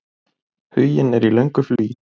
Huginn er í löngu flugi.